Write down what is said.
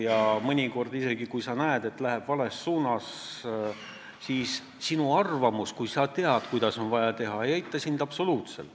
Ja mõnikord, kui sa näed, et läheb vales suunas, siis sinu arvamus, teadmine, kuidas on vaja teha, ei aita absoluutselt.